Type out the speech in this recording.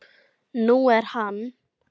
Nú er hann